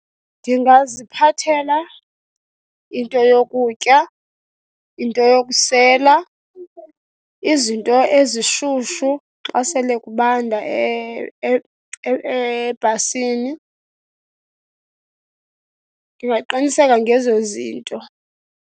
Ndingaziphathela into yokutya, into yokusela, izinto ezishushu xa sele kubanda ebhasini. Ndingaqiniseka ngezo zinto.